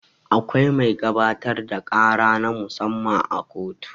Akwai mai gabatar da ƙara na mu-samma a kotu.